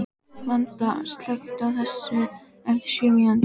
Vanda, slökktu á þessu eftir sjö mínútur.